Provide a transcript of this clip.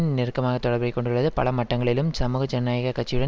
நெருக்கமான தொடர்பைக் கொண்டுள்ளது பல மட்டங்களிலும் சமூக ஜனநாயக கட்சியுடன்